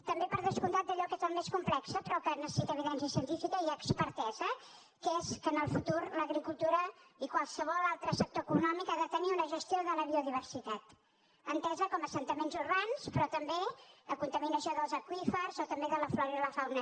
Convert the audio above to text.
també per descomptat d’allò que és el més complex però que necessita evidència científica i expertesa que és que en el futur l’agricultura i qualsevol altre sector econòmic ha de tenir una gestió de la biodiversitat entesa com a assentaments urbans però també la contaminació dels aqüífers o també de la flora i la fauna